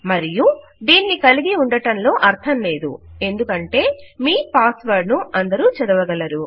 మరియు దీనిని కలిగి ఉండటంలో అర్ధం లేదు ఎందుకంటే మీ పాస్ వర్డ్ ను అందరూ చదవగలరు